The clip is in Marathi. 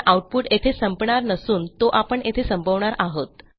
पण आऊटपुट येथे संपणार नसून तो आपण येथे संपवणार आहोत